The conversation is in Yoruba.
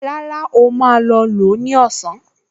Rárá, ó máa lò ó ní ọ̀sán